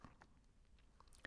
DR2